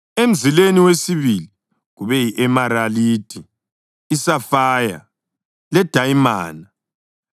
emzileni wesibili kube yi-emeralidi, isafaya, ledayimana,